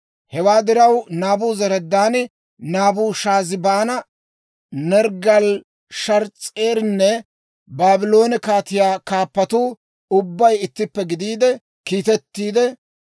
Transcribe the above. Hewaa diraw, Naabuzaradaani, Naabushaazibaani, Nerggaali-Sharees'erinne Baabloone kaatiyaa kaappatuu ubbay ittippe gidiide kiittiide,